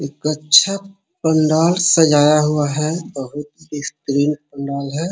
एक अच्छा पंडाल सजाया हुआ है बहुत ही पंडाल है।